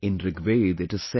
In Rigveda it is said